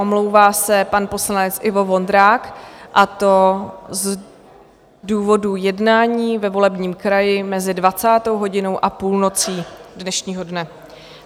Omlouvá se pan poslanec Ivo Vondrák, a to z důvodu jednání ve volebním kraji mezi 20. hodinou a půlnocí dnešního dne.